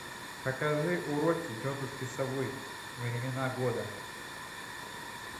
покажи уроки тетушки совы времена года